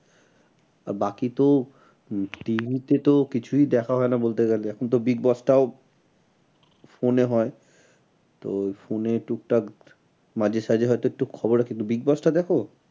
আর বাকি তো উম TV তো কিছুই দেখা হয় না বলতে গেলে এখন তো big boss টাও phone এ হয়। তো phone এ টুকটাক মাঝে সাঝে হয় তো একটু খবর হয় কিন্তু big boss দেখো?